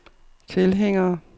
tilhængere